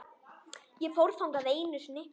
Ég fór þangað einu sinni.